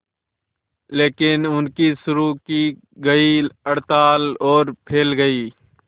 लेकिन उनकी शुरू की गई हड़ताल और फैल गई